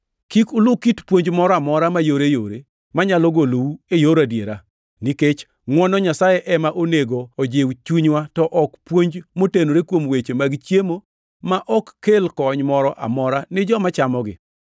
Kik ulu kit puonj moro amora mayoreyore manyalo golou e yor adiera, nikech ngʼwono Nyasaye ema onego ojiw chunywa to ok puonj motenore kuom weche mag chiemo ma ok kel kony moro amora ni joma chamogi.